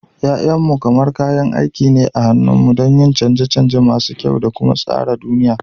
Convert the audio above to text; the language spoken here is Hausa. Ya'yanmu kamar kayan aiki ne a hannunmu don yin canje-canje masu kyau da kuma tsara duniya.